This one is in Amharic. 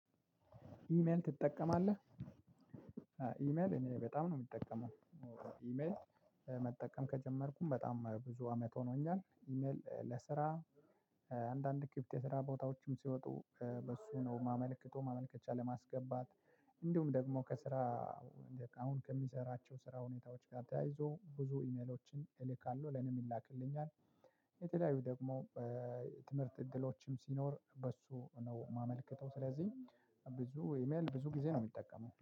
ኢሜል ትጠቀማለህ? ኢሜል እኔ በጣም ነው እምጠቀመው ኢሜል መጠቀም ከጀመርኩም በጣም ብዙ አመት ሆኖኛል። ኢሜል ለስራ አንዳንድ ክፍት የስራ ቦታዎችም ሲወጡ በእሱ ነው እማመልከተው ማመልከቻ ለማስገባት እንዲሁም ደግሞ ከስራ አሁን ከሚሰራቸው ስራ ሁኔታዎች ጋ ተያይዞ ብዙ ኢሜሎችን እልካለሁ ለእኔም ይላክልኛል። የተለያዩ ደግሞ ትምህርት እድሎችም ሲኖር በእሱ ነው እማመልከተው። ስለዚህ ብዙ ኢሜል ብዙ ጊዜ ነው እሚጠቀመው